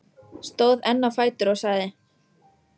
Stóð enn á fætur og sagði: